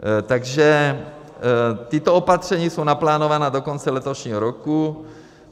Takže tato opatření jsou naplánována do konce letošního roku.